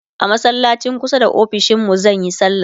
a masallacin kusa da ofishinmu zanyi sallah